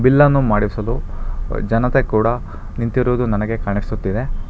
ಎಲ್ಲಾನೂ ಮಾಡಿಸಲು ಜನತೆ ಕೂಡ ನಿಂತಿರುವುದು ನನಗೆ ಕಾಣಿಸುತ್ತಿದೆ.